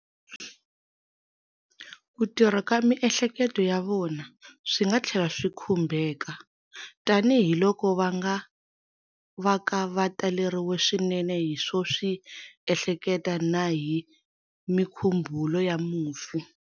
Ku tirha ka miehleketo ya vona swi nga tlhela swi khumbeka, tanihiloko va nga vaka va taleriwile swinene hi swo swi ehleketa na hi mikhumbhulo ya mufi.